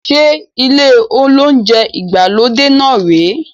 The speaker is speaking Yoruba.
Ṣe ilé olounjẹ ìgbàlódé náà rè é?